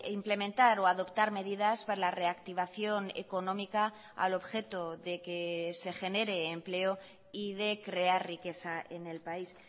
implementar o adoptar medidas para la reactivación económica al objeto de que se genere empleo y de crear riqueza en el país